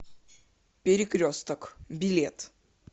перекресток билет